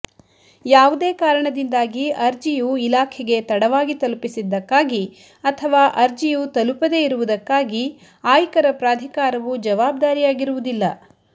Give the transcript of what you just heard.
ಯಾವುದೇ ಕಾರಣದಿಂದ್ದಾಗಿ ಅರ್ಜಿಯು ಇಲಾಖೆಗೆ ತಡವಾಗಿ ತಲುಪ್ಪಿಸಿದ್ದಕ್ಕಾಗಿ ಅಥವಾ ಅರ್ಜಿಯು ತಲುಪದೇ ಇರುವುದ್ದಕ್ಕಾಗಿ ಆಯ್ಕರ ಪ್ರಧಿಕಾರವು ಜವಾಬ್ದಾರಿಯಾಗಿರುವುದಿಲ್ಲ